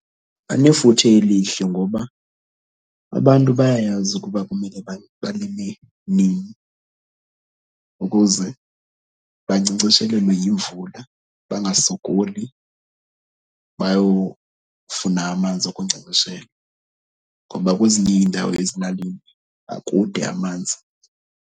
Banefuthe elihle ngoba abantu bayayazi ukuba kumele balime nini ukuze bankcenkceshelelwe yimvula, bangasokoli bayofuna amanzi okunkcenkceshela. Ngoba kwezinye iindawo ezilalini akude amanzi.